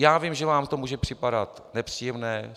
Já vím, že vám to může připadat nepříjemné.